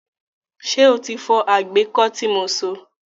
Ṣé o ti fọ àgbẹ́kọ́ tí mo so?